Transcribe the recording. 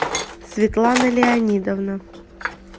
светлана леонидовна